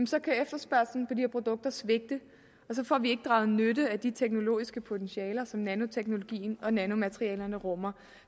så kan efterspørgslen på de her produkter svigte og så får vi ikke draget nytte af de teknologiske potentialer som nanoteknologien og nanomaterialerne rummer